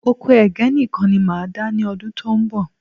Oko Ẹ̀gẹ́ nìkan ni máa dá ní ọdún tó ń bọ̀